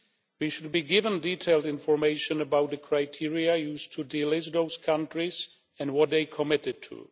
We should be given detailed information about the criteria used to delist those countries and what they have committed to.